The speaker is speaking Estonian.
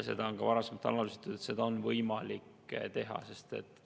Seda on ka varasemalt analüüsitud, et seda on võimalik teha.